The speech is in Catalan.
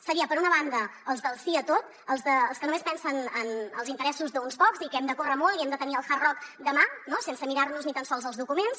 serien per una banda els del sí a tot els que només pensen en els interessos d’uns pocs i que hem de córrer molt i hem de tenir el hard rock demà sense mirar nos ni tan sols els documents